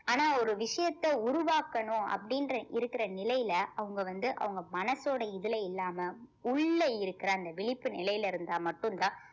ஆனா ஒரு விஷயத்த உருவாக்கணும் அப்படின்ற இருக்கிற நிலையில அவங்க வந்து அவங்க மனசோட இதுல இல்லாம உள்ள இருக்கிற அந்த விழிப்பு நிலையில இருந்தா மட்டும்தான்